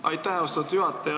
Aitäh, austatud juhataja!